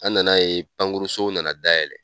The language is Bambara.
An nana ye pankurusow nana dayɛlɛ